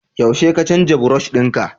yaushe ka canza brush dinka?